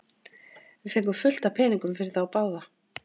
Við fengum fullt af peningum fyrir þá báða.